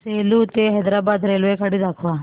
सेलू ते हैदराबाद रेल्वेगाडी दाखवा